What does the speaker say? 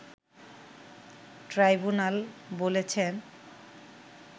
tribunal বলেছেন